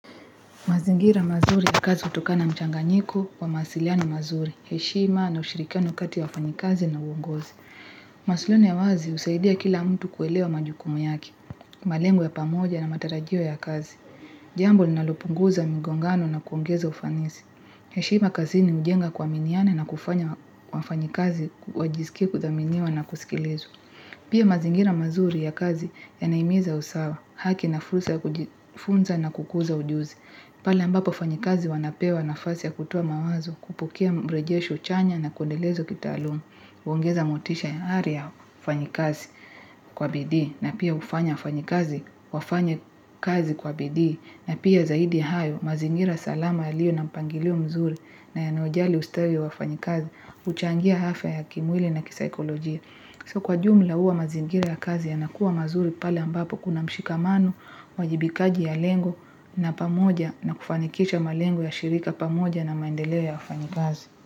Mazingira mazuri ya kazi utokana mchanganyiko wa masiliano mazuri, heshima na ushirikiano kati wafanyikazi na uongozi. Masiliano ya wazi usaidia kila mtu kuelewa majukumu yake, malengo ya pamoja na matarajio ya kazi. Jambo linalopunguza mingongano na kuongeza ufanisi. Heshima kazi ni ujenga kwa miniana na kufanya wafanyikazi, wajisikie kuthaminiwa na kusikilizwa. Pia mazingira mazuri ya kazi ya naimiza usawa, haki na fursa na kukuza ujuzi. Pala mbapo wafanyakazi wanapewa nafasi ya kutowa mawazo kupokea mbrejesho chanya na kundelezwa kita aluma, uungeza motisha ya aria fanyikazi kwa bidii na pia ufanya wafanyakazi kwa bidii na pia zaidi hayo mazingira salama ya liyo na mpangilio mzuri na yanayojali ustawi wa fanyikazi, uchangia afya ya kimwili na kisikolojia. So kwa jumla huwa mazingira ya kazi ya nakua mazuri pale ambapo kuna mshika mano, wajibikaji ya lengo na pamoja na kufanikisha malengo ya shirika pamoja na maendeleo ya kufanikazi.